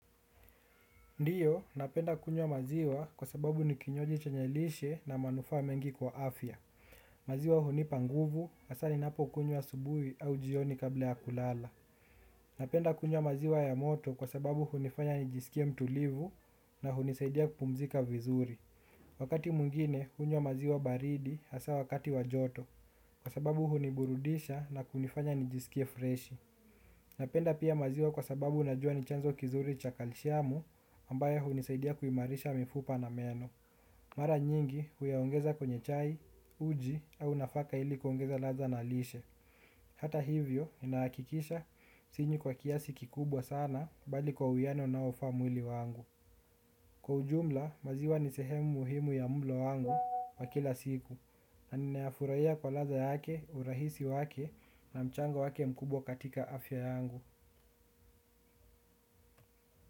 Ndiyo, napenda kunywa maziwa kwa sababu nikinywaji chenye lishe na manufaa mengi kwa afya. Maziwa hunipa nguvu hasa ninapo kunywa asubuhi au jioni kabla ya kulala napenda kunywa maziwa ya moto kwa sababu hunifanya nijisikie mtulivu na hunisaidia kupumzika vizuri. Wakati mwingine, hunywa maziwa baridi hasa wakati wa joto kwa sababu huniburudisha na kunifanya nijisikie freshi. Napenda pia maziwa kwa sababu najua ni chanzo kizuri cha kalshiamu ambayo hunisaidia kuimarisha mifupa na meno. Mara nyingi huyaongeza kwenye chai, uji au nafaka ili kuongeza ladha na lishe. Hata hivyo, ninahakikisha sinywi kwa kiasi kikubwa sana bali kwa uwiano unaofa mwili wangu. Kwa ujumla, maziwa ni sehemu muhimu ya mulo wangu wa kila siku. Ninayafurahia kwa ladha yake, urahisi wake na mchango wake mkubwa katika afya yangu.